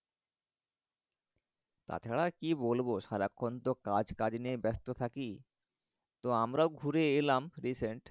তাছাড়া আর কি বলবো সারাক্ষনতো কাজ কাজ নিয়েই ব্যাস্ত থাকি তো আমরাও ঘুরে এলাম recent